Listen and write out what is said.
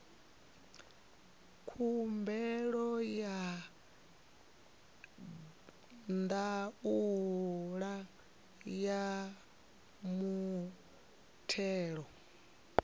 khumbelo ya ndaela ya muthelo